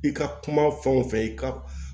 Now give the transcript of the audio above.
I ka kuma fɛn o fɛn i ka